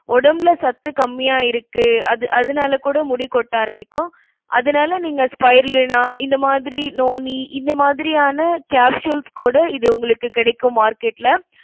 உடம்புல சத்து கம்மியா இருக்கு அது~ அதனால கூட முடி கொட்ட ஆரம்பிக்கும். அதனால நீங்க spirulina இந்த மாதிரி noni இந்த மாதிரியான capsules கூட இது உங்களுக்கு கிடைக்கும் market ல